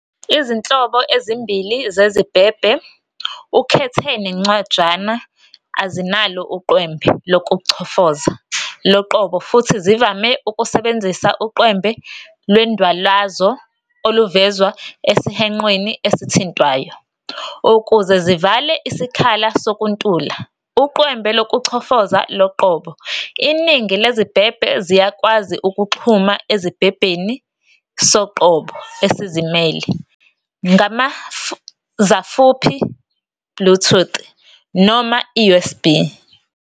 Izinhlobo ezimbili zezibhebhe, ukhethe neNcwajana, azinalo uqwembe lokuchofoza loqobo futhi zivame ukusebenzisa uqwembe lwendwalazo oluvezwa esihwenqweni esithintwayo. Ukuze zivale isikhala sokuntula uqwembe lokuchofoza loqobo, iningi lezibhebhe ziyakwazi ukuxhuma ezibhebheni soqobo esizimele ngamazafuphi, Bluetooth, noma i-USB.